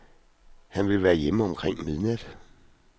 Han vil være hjemme omkring midnat.